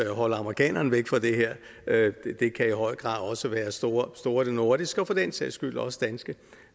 holde amerikanerne væk fra det her det kan i høj grad også være store store nordiske og for den sags skyld også danske